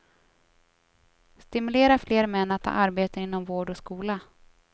Stimulera fler män att ta arbeten inom vård och skola.